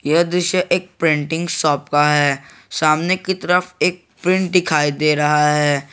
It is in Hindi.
यह दृश्य एक प्रिंटिंग शॉप का है सामने की तरफ एक प्रिंट दिखाई दे रहा है।